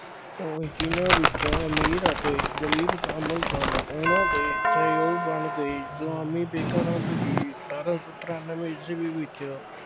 ਉਹ ਜਿਨ੍ਹਾਂ ਵਿੱਚ ਅਮੀਰ ਅਤੇ ਗਰੀਬ ਸ਼ਾਮਿਲ ਸਨ, ਉਨ੍ਹਾਂ ਦੇ ਸਹਿਯੋਗ ਬਣ ਗਏ। ਸੁਆਮੀ ਵਿਵੇਕਾਨੰਦ ਜੀ ਅਠਾਰਾਂ ਸੌ ਤਰਾਨਵੇਂ ਈਸਵੀ ਵਿੱਚ